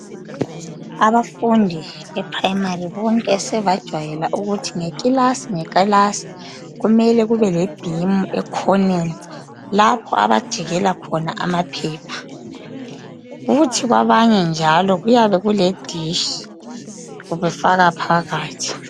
abafundi be primary bonke sebajwayela ukubana nge kilasi ngekilasi kumele kube lebhimu ekhoneni lapho abajikelakhona amaphephe kuthi kwabanye njaalo kuyabe kule nditshi befaka phakathi